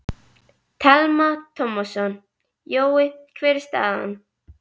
Telma Tómasson: Jói, hver er staðan?